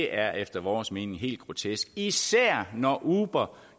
er efter vores mening helt grotesk især når uber